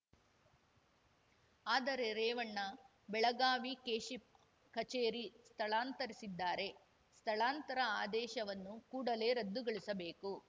ಆದರೆ ರೇವಣ್ಣ ಬೆಳಗಾವಿ ಕೆಶಿಪ್‌ ಕಚೇರಿ ಸ್ಥಳಾಂತರಿಸಿದ್ದಾರೆ ಸ್ಥಳಾಂತರ ಆದೇಶವನ್ನು ಕೂಡಲೇ ರದ್ದುಗೊಳಿಸಬೇಕು